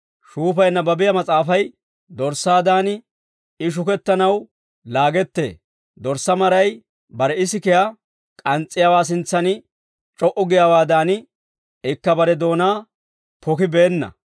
Shuufay nabbabiyaa mas'aafay, «Dorssaadan I shukettanaw laagettee. Dorssaa maray bare isikiyaa k'ans's'iyaawaa sintsan c'o"u giyaawaadan, ikka bare doonaa pokibeenna.